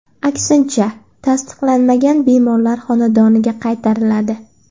Aksincha, tasdiqlanmagan bemorlar xonadoniga qaytariladi.